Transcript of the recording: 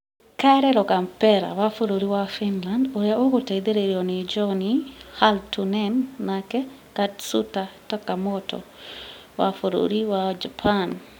Kalle Rovanpera wa bũrũri wa Finland, ũrĩa ũgũteithĩrĩrio nĩ Jonne Halttunen nake Katsuta Takamoto wa bũrũri wa Japan,